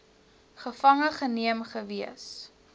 gevange geneem gewees